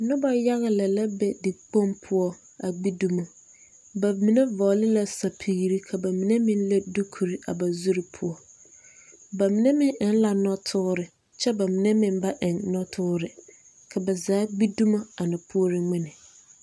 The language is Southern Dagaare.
Noba yaga lɛ la be dikpoŋ poɔ a gbi dumo ba mine vɔgle la sapigri ka ba mine leŋ dukure a ba zuri poɔ ba mine meŋ eŋ la nɔtoore kyɛ ba mine meŋ ba eŋ nɔtoore ka ba zaa gbi dumo a na puori ŋmene.